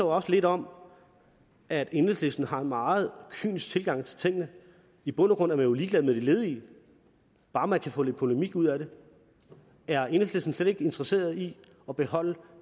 også lidt om at enhedslisten har en meget kynisk tilgang til tingene i bund og grund er man jo ligeglad med de ledige bare man kan få lidt polemik ud af det er enhedslisten slet ikke interesseret i at beholde